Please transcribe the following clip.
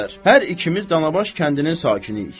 Müxtəsər, hər ikimiz Danabaş kəndinin sakiniyik.